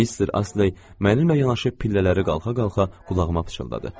Mister Asley mənimlə yanaşı pillələri qalxa-qalxa qulağıma pıçıldadı.